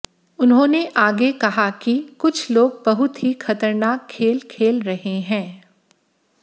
उन्होंने आगे कहा कि कुछ लोग बहुत ही खतरनाक खेल खेल रहे हैं